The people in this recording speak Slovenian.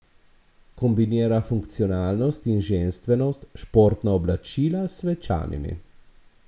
Kombinira funkcionalnost in ženstvenost, športna oblačila s svečanimi.